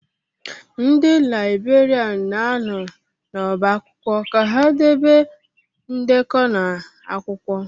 Ndị libèrián na-anọ n'ọbá akwụkwọ ka ha debe ndekọ na akwụkwọ